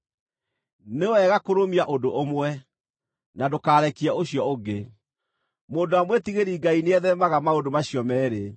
Nĩ wega kũrũmia ũndũ ũmwe, na ndũkarekie ũcio ũngĩ. Mũndũ ũrĩa mwĩtigĩri-Ngai nĩetheemaga maũndũ macio meerĩ.